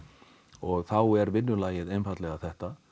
og þá er vinnulagið einfaldlega þetta